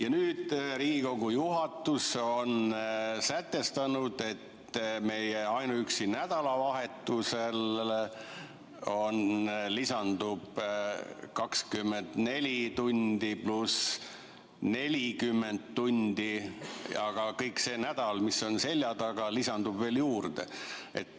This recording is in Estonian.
" Ja nüüd Riigikogu juhatus on sätestanud, et ainuüksi nädalavahetusega lisandub 24 tundi + 40 tundi, aga kõik see nädal, mis on seljataga, tuleb veel juurde.